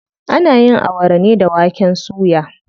Ana yin Awara ne da waken suya.